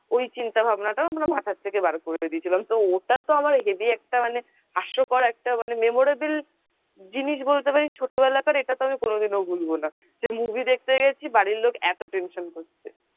ওই চিন্তাভাবনা ও আমরা মাথা থেকে বার করে দিয়েছিলাম তো ওটা তো আমার heavy একটা মানে হাস্যকর একটা মানে memorable জিনিস বলতে পারিস ছোটবেলাকার এটা তো আমি কনো দিন ভুলবো না যে movie দেখতে গেছি বাড়ির লোক এত tension করছে।